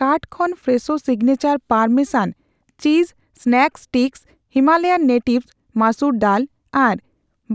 cart ᱠᱷᱚᱱ fresco signature parmesan cheese snack sticks, Himalayan natives masoor dal ᱟᱨ